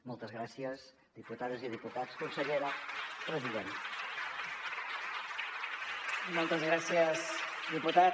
moltes gràcies diputades i diputats consellera president